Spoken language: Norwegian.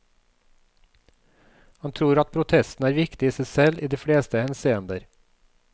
Han tror at protesten er viktig i seg selv i de fleste henseender.